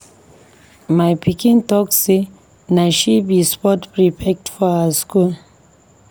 My pikin talk sey na she be sports prefect for her skool.